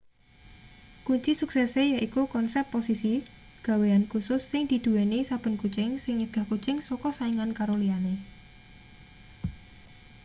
kunci suksese yaiku konsep posisi gawean kusus sing diduweni saben kucing sing nyegah kucing saka saingan karo liyane